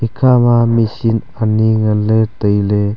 ikha ma machine ani ngan ley tai ley.